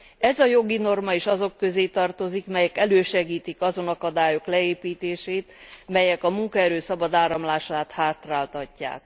Ez a jogi norma is azok közé tartozik, melyek elősegítik azon akadályok leépítését, melyek a munkaerő szabad áramlását hátráltatják.